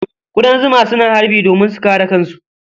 Ƙudan zuma suna harbi domin su kare kansu.